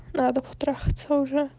надо потрахаться уже